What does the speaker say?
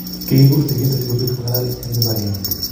kikigur sigindet sikopit ko ngalal eng kibakenge